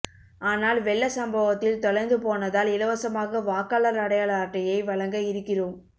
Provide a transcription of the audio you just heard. ஆனால் வெள்ள சம்பவத்தில் தொலைந்துபோனதால் இலவசமாக வாக்காளர் அடையாள அட்டையை வழங்க இருக்கிறோம்